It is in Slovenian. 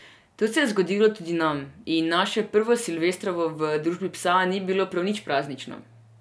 To se je zgodilo tudi nam, in naše prvo silvestrovo v družbi psa ni bilo prav nič praznično.